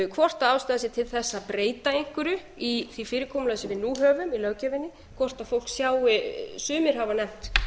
hvort ástæða sé til þess að breyta einhverju í því fyrirkomulagi sem við nú höfum í löggjöfinni hvort fólki sjái sumir hafa nefnt